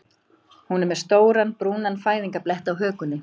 Hún er með stóran brúnan fæðingarblett á hökunni.